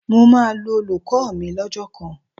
Mo máa lu olùkọ́ mi lọ́jọ́ kan